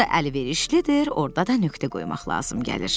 harda əlverişlidir, orda da nöqtə qoymaq lazım gəlir.